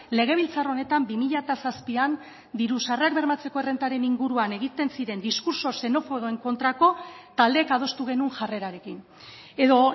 legebiltzar honetan bi mila zazpian diru sarrerak bermatzeko errentaren inguruan egiten ziren diskurtso xenofoboen kontrako taldeek adostu genuen jarrerarekin edo